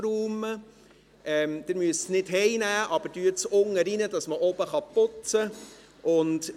Sie müssen Ihre Dinge nicht nach Hause mitnehmen, aber legen Sie sie unten rein, damit man oben putzen kann.